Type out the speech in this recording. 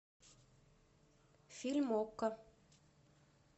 фильм окко